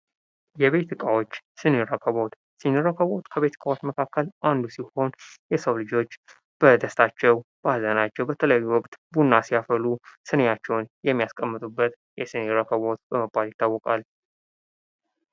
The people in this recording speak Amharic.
የቤት እቃዎች ሰኒ ረከቦት ሰኒ ረከቦት ከቤት እቃዎች መካከል አንዱ ሲሆን የሰዉ ልጆች በደስታቸው በሐዘናቸው በተለያዩ ወቅት ቡና ሲያፈሉ ስኒያቸውን የሚያስቀምጡበት የስኒ ረከቦት በመባል ይታወቃል